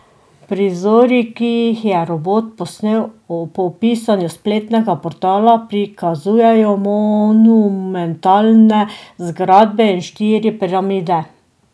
Prizori, ki jih je robot posnel, po pisanju spletnega portala prikazujejo monumentalne zgradbe in štiri piramide.